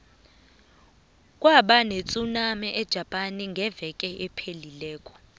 kube netsunami ejapane eveke ephelileko